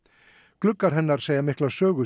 gluggarnir segja mikla sögu